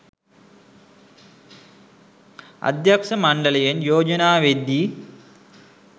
අධ්‍යක්ෂ මණ්ඩලයෙන් යෝජනා වෙද්දී